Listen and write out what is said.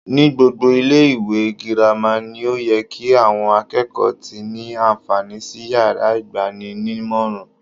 Ní gbogbo ilé ìwé girama ni ó ye ki àwon akékòó ti ní ànfàní sí yàrá ìgbaninímòràn